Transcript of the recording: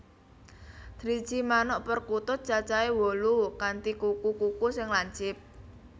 Driji manuk perkutut cacahé wolu kanthi kuku kuku sing lancip